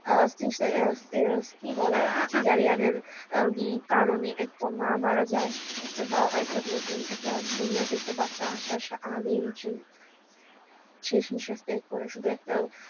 আহ কি বলে cesarean এর কারণে একটা মা মারা যায় একটা বা একটা নতুন দুনিয়া দেখতে বাচ্চা আসার আগেই সে শেষ নিঃশ্বাস ত্যাগ করে শুধু একটা